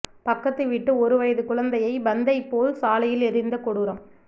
பக்கத்து வீட்டு ஒரு வயது குழந்தையை பந்தைப்போல் சாலையில் எறிந்த கொடூரம்